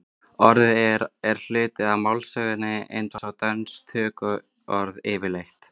orðið er hluti af málsögunni eins og dönsk tökuorð yfirleitt